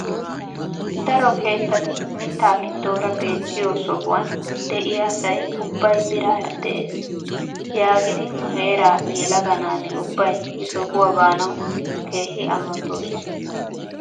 Daro keettati mitta gidoora beettiyo sohuwaan de'iyaa asa ubbay biraara de'ees yaagidi nu heera yelaga naati ubbay he sohuwaa baanawu keehi amottoosona!